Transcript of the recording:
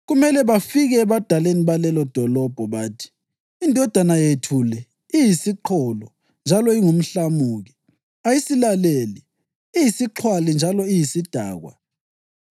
Kumele bafike ebadaleni balelodolobho bathi, ‘Indodana yethu le iyisiqholo njalo ingumhlamuki. Ayisilaleli. Iyisixhwali njalo iyisidakwa.’